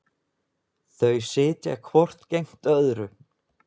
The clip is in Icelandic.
Þau sitja hvort gegnt öðru.